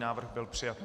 Návrh byl přijat.